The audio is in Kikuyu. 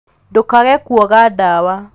ndũkage kuoga ndawa